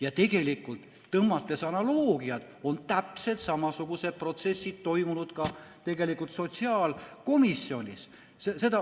Ja tõmmates analoogiat, on täpselt samasugused protsessid toimunud ka sotsiaalkomisjonis.